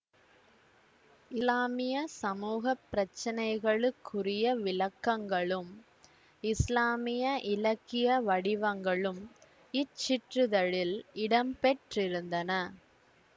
இசுலாமிய சமூக பிரச்சினைகளுக்குரிய விளக்கங்களும் இசுலாமிய இலக்கிய வடிவங்களும் இச்சிற்றிதழில் இடம்பெற்றிருந்தன